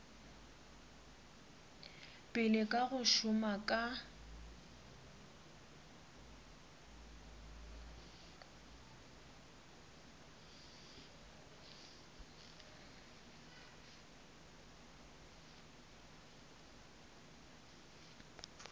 pele ka go šoma ka